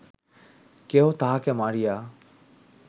কেহ তাঁহাকে মারিয়া